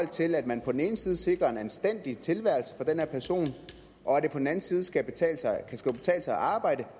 til at man på den ene side sikrer en anstændig tilværelse for den her person og det på den anden side skal kunne betale sig at arbejde